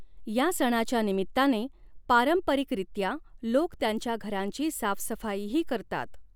या सणाच्या निमित्ताने पारंपरिकरीत्या, लोक त्यांच्या घरांची साफसफाईही करतात.